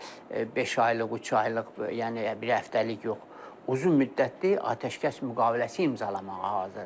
Yəni beş aylıq, üç aylıq, yəni bir həftəlik yox, uzunmüddətli atəşkəs müqaviləsi imzalamağa hazırdır.